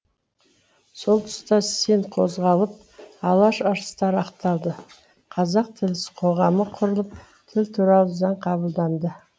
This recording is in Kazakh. сол тұста сен қозғалып алаш арыстары ақталды қазақ тілі қоғамы құрылып тіл туралы заң қабылданды